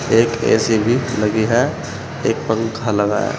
एक ए_सी भी लगी है एक पंखा लगा है।